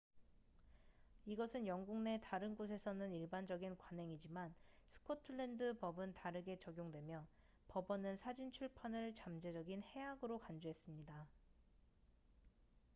이것은 영국 내 다른 곳에서는 일반적인 관행이지만 스코틀랜드 법은 다르게 적용되며 법원은 사진 출판을 잠재적인 해악으로 간주했습니다